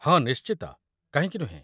ହଁ, ନିଶ୍ଚିତ, କାହିଁକି ନୁହେଁ?